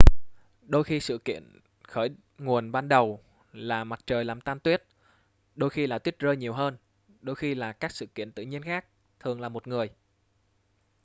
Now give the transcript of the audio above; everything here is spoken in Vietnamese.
đôi khi sự kiện khởi nguồn ban đầu là mặt trời làm tan tuyết đôi khi là tuyết rơi nhiều hơn đôi khi là các sự kiện tự nhiên khác thường là một người